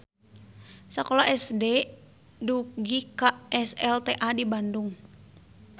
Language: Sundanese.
Sakola SD dugika SLTA di Bandung.